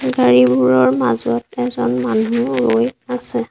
গাড়ীবোৰৰ মাজত এজন মানুহ ৰৈ আছে।